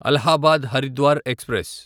Allahabad Haridwar express